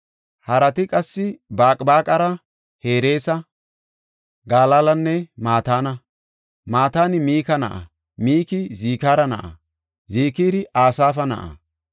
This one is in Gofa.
Harati qassi Baqbaqara, Hereesa, Galaalanne Mataana. Mataani Mika na7a; Miki Zikira na7a; Zikiri Asaafa na7a.